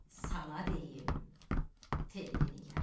Sana deyim Telli Nigar.